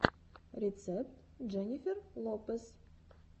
рецепт дженнифер лопез